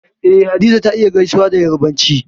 Eh Hadiza ta iya gaisuwa da Yarbanci